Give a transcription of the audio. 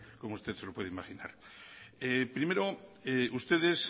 como usted se lo puede imaginar primero ustedes